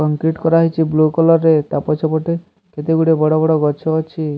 Concrete କରା ହେଇଛି blue colour ରେ ତା ପଛ ପଟେ କେତେ ଗୁଡ଼ିଏ ବଡ ବଡ ଗଛ ଅଛି।